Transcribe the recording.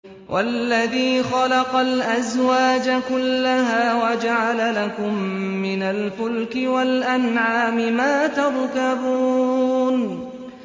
وَالَّذِي خَلَقَ الْأَزْوَاجَ كُلَّهَا وَجَعَلَ لَكُم مِّنَ الْفُلْكِ وَالْأَنْعَامِ مَا تَرْكَبُونَ